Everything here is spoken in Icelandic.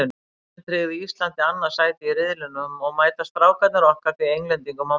Sigurinn tryggði Íslandi annað sætið í riðlinum og mæta Strákarnir okkar því Englendingum á mánudaginn.